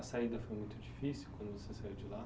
A saída foi muito difícil quando você saiu de lá?